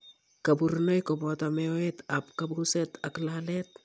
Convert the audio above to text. Kaborunoik kobooto meoet ab kabuset ak laleet